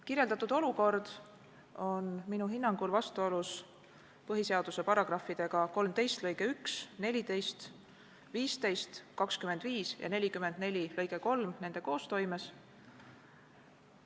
Kirjeldatud olukord on minu hinnangul vastuolus põhiseaduse § 13 lõikega 1, §-ga 14, § 15 lõikega 1, §-ga 25 ja § 44 lõikega 3 nende koostoimes.